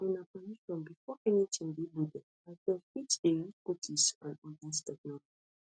we ask for una permission before anytin dey loaded as dem fit dey use cookies and oda technologies